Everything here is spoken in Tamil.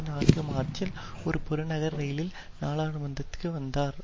நான்கு மார்ச்சில் ஒரு புறநகர் ரயிலில் நாடாளுமன்றத்திற்கு வந்தார்